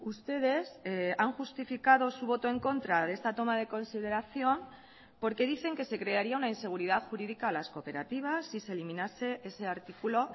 ustedes han justificado su voto en contra de esta toma de consideración porque dicen que se crearía una inseguridad jurídica a las cooperativas si se eliminase ese artículo